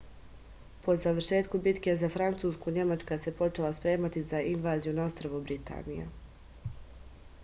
po završetku bitke za francusku nemačka se počela spremati za invaziju na ostrvo britaniju